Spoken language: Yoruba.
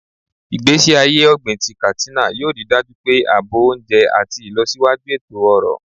Igbesi aye ogbin ti Katsina yoo rii daju pe aabo ounje ati ilosiwaju eto-ọrọ.